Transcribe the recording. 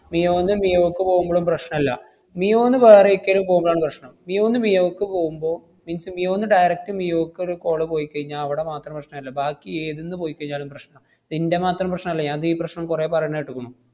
മിയോന്ന് മിയോക്ക് പോവുമ്പളും പശ്‌നല്ല. മിയോന്ന് വേറെ ഏക്കലും പോവുമ്പഴാണ് പ്രശ്‌നം. മിയോന്ന് മിയോക്ക് പോവുമ്പോ means മിയോന്ന് direct മിയോക്കൊരു call പോയിക്കഴിഞ്ഞാ അവടെ മാത്രം പ്രശ്നല്ല. ബാക്കി ഏതിന്ന് പോയിക്കഴിഞ്ഞാലും പ്രശ്നാ. ഇത് ഇന്‍റെ മാത്രം പ്രശ്നല്ല, ഞാൻ ദീ പ്രശ്നം കൊറേ പറയണ കേട്ടുക്കണു.